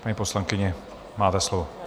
Paní poslankyně, máte slovo.